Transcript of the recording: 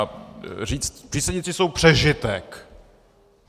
A říct "přísedící jsou přežitek"...